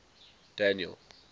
daniel